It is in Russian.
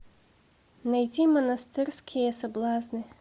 найти монастырские соблазны